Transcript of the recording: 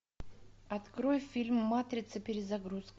открой фильм матрица перезагрузка